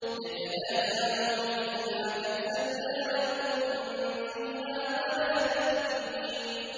يَتَنَازَعُونَ فِيهَا كَأْسًا لَّا لَغْوٌ فِيهَا وَلَا تَأْثِيمٌ